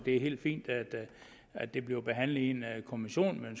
er helt fint at at det bliver behandlet i en kommission men